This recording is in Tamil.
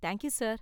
Thank you sir.